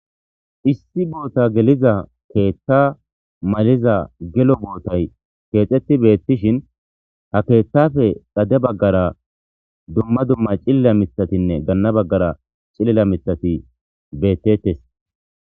Issi botta geliza keththa maliza gelo bottay ketheti bettishin ha keththappe dugge bagara dumma dumma c'ilili mithatine gana bagara c'ilila miththati bettetes